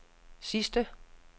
sidste